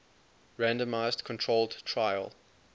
randomized controlled trial